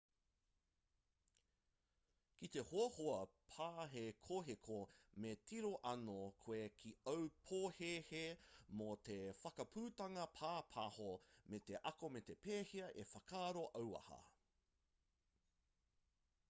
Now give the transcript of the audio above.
ki te hoahoa pāhekoheko me tiro anō koe ki āu pōhēhē mō te whakaputanga pāpāho me te ako me pēhea e whakaaro auaha